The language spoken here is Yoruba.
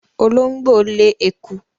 Olóńgbò lé eku.